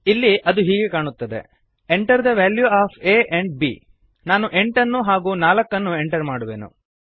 ಇಲ್ಲಿ ಅದು ಹೀಗೆ ಕಾಣುತ್ತದೆ Enter the value of a and b ನಾನು 8 ಹಾಗೂ 4 ನ್ನು ಎಂಟರ್ ಮಾಡುವೆನು